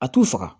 A t'u faga